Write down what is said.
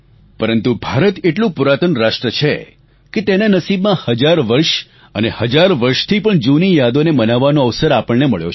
પરંતુ ભારત એટલું પુરાતન રાષ્ટ્ર છે કે તેના નસીબમાં હજાર વર્ષ અને હજાર વર્ષથી પણ જૂની યાદોને મનાવવાનો અવસર આપણને મળ્યો છે